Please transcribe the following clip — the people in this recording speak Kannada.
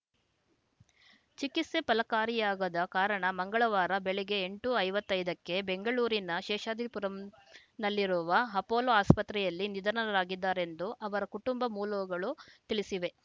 ಚಿಕಿತ್ಸೆ ಫಲಕಾರಿಯಾಗದ ಕಾರಣ ಮಂಗಳವಾರ ಬೆಳಗ್ಗೆ ಎಂಟು ಐವತ್ತೈದಕ್ಕೆ ಬೆಂಗಳೂರಿನ ಶೇಷಾದ್ರಿಪುರಂನಲ್ಲಿರುವ ಅಪೋಲೋ ಅಸ್ಪತ್ರೆಯಲ್ಲಿ ನಿಧನರಾಗಿದ್ದಾರೆಂದು ಅವರ ಕುಟುಂಬ ಮೂಲೊಗಳು ತಿಳಿಸಿವೆ